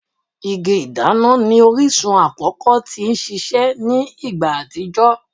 Igi-ìdana ni orisun akọkọ ti sise ni igba atijọ